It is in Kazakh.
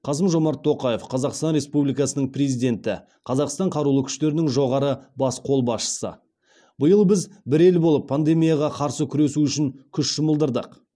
қасым жомарт тоқаев қазақстан республикасының президенті қазақстан қарулы күштерінің жоғарғы бас қолбасшысы биыл біз бір ел болып пандемияға қарсы күресу үшін күш жұмылдырдық